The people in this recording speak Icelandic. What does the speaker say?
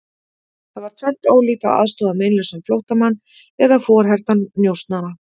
Það var tvennt ólíkt að aðstoða meinlausan flóttamann eða forhertan njósnara.